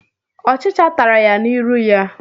Ọchicha tara ya n'irụ ya.